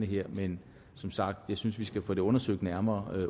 her men som sagt synes vi skal få det undersøgt nærmere